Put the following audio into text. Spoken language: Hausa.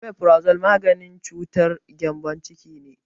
Omefrazo maganin cutar gembon ciki ne